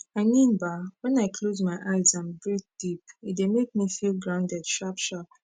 i mean bah wen i close my eyes and breathe deep e dey make me feel grounded sharp sharp